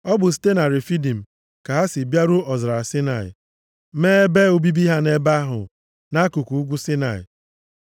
Ọ bụ site na Refidim ka ha sị bịaruo ọzara Saịnaị, mee ebe obibi ha nʼebe ahụ, nʼakụkụ ugwu Saịnaị.